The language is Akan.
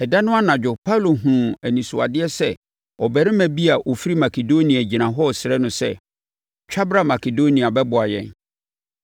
Ɛda no anadwo Paulo hunuu anisoadeɛ sɛ ɔbarima bi a ɔfiri Makedonia gyina hɔ resrɛ no sɛ, “Twa bra Makedonia bɛboa yɛn!”